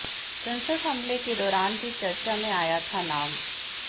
संसद हमले के दौरान भी चर्चा में आया था नाम